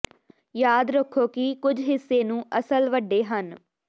ਯਾਦ ਰੱਖੋ ਕਿ ਕੁਝ ਹਿੱਸੇ ਨੂੰ ਅਸਲ ਵੱਡੇ ਹਨ